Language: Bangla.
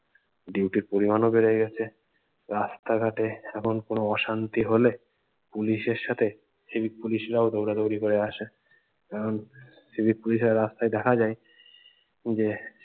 duty র পরিমান ও বেড়ে গেছে রাস্তাঘাটে এখন কোনো অশান্তি হলে পুলিশের সাথে civic পুলিশরাও দৌড়াদোড়ি করে আসে এখন সিভিক পুলিশেরা রাস্তায় দেখা যায় যে